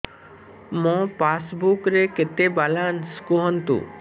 ମୋ ପାସବୁକ୍ ରେ କେତେ ବାଲାନ୍ସ କୁହନ୍ତୁ